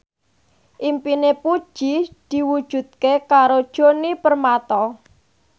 impine Puji diwujudke karo Djoni Permato